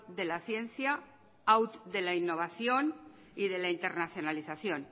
de la ciencia out de la innovación y de la internacionalización